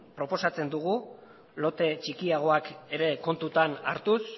proposatzen dugu lote txikiagoak ere kontutan hartuz